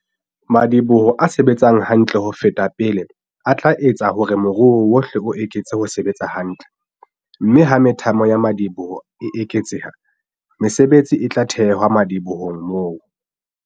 Madiboho a se-betsang hantle ho feta pele a tla etsa hore moruo wohle o eketse ho sebetsa hantle - mme ha methamo ya madi-boho e eketseha, mesebetsi e tla thewa madibohong moo.